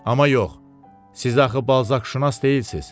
Amma yox, siz axı balzakşünas deyilsiz.